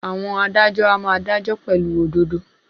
Àwọn adájọ́ a máa dájọ́ pẹ̀lú òdodo.